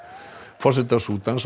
forseta Súdans